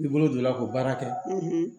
I bolo donna ko baara kɛ